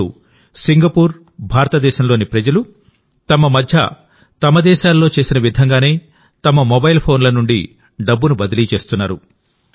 ఇప్పుడుసింగపూర్ భారతదేశంలోని ప్రజలు తమ మధ్య తమ దేశాలలో చేసే విధంగానే తమ మొబైల్ ఫోన్ల నుండి డబ్బును బదిలీ చేస్తున్నారు